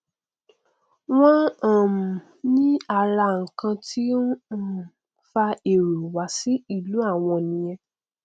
wọn um ní ara nkan tí ó um nfa èrò wá sí ìlú àwọn nìyẹn